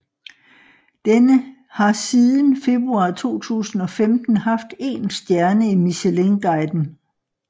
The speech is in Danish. Den har siden februar 2015 haft én stjerne i Michelinguiden